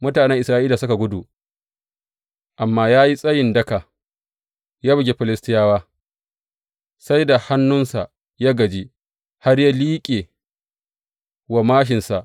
Mutanen Isra’ila suka gudu, amma ya yi tsayi daka, ya bugi Filistiyawa sai da hannunsa ya gaji har ya liƙe wa māshinsa.